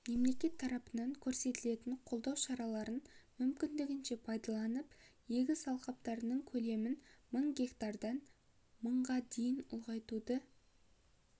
мемлекет тарапынан көрсетілетін қолдау шараларын мүмкіндігінше пайдаланып егіс алқаптарының көлемін мың гектардан мыңға дейін ұлғайтуды